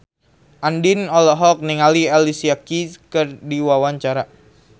Andien olohok ningali Alicia Keys keur diwawancara